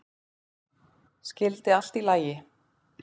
Skyldi allt í lagi?